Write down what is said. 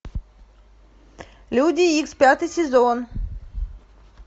люди икс пятый сезон